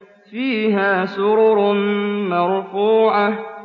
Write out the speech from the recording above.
فِيهَا سُرُرٌ مَّرْفُوعَةٌ